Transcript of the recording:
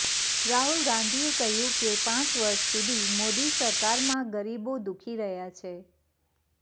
રાહુલ ગાંધીએ કહ્યું કે પાંચ વર્ષ સુધી મોદી સરકારમાં ગરીબો દુઃખી રહ્યા છે